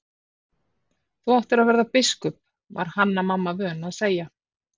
Þú áttir að verða biskup, var Hanna-Mamma vön að segja.